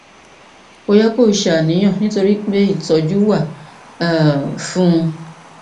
kò yẹ kó o ṣàníyàn nítorí pé ìtọjú wà um fún un